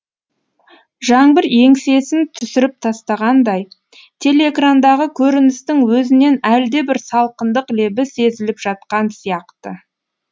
жаңбыр еңсесін түсіріп тастағандай телеэкрандағы көріністің өзінен әлдебір салқындық лебі сезіліп жатқан сияқты